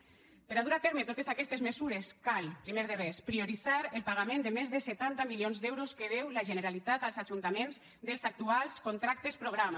per a dur a terme totes aquestes mesures cal primer de res prioritzar el pagament de més de setanta milions d’euros que deu la generalitat als ajuntaments dels actuals contractes programa